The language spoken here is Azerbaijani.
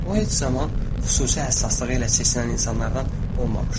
O, heç zaman xüsusi həssaslığı ilə seçilən insanlardan olmamışdı.